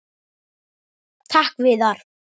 Takk Viðar.